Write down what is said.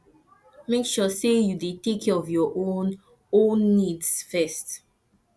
make sure sey you dey take care of your own own needs first